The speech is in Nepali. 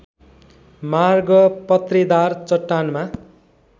मार्ग पत्रेदार चट्टानमा